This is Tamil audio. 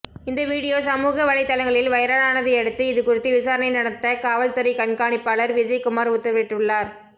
இந்த வீடியோ சமூகவலைதளங்களில் வைரலானதையடுத்து இதுகுறித்து விசாரணை நடத்த காவல்துறை கண்காணிப்பாளர் விஜய்குமார் உத்தரவிட்டுள்ளார்